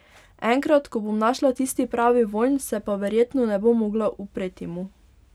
Enkrat, ko bom našla tisti pravi vonj, se pa verjetno ne bom mogla upreti mu ...